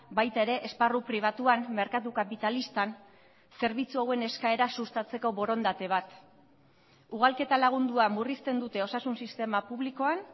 baita ere esparru pribatuan merkatu kapitalistan zerbitzu hauen eskaera sustatzeko borondate bat ugalketa lagundua murrizten dute osasun sistema publikoan